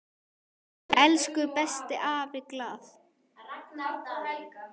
Elsku besti afi Glað.